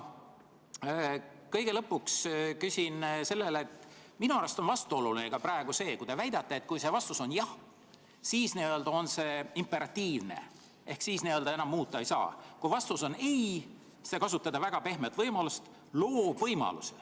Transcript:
Kõige lõpuks küsin seda, et minu arust on vastuoluline praegu ka see, kui te väidate, et kui see vastus on jah, siis on see imperatiivne ehk siis enam muuta ei saa, kui vastus on ei, siis te kasutate väga pehmet väljendust, et see loob võimaluse.